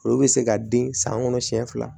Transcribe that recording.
Olu bɛ se ka den san kɔnɔ siɲɛ fila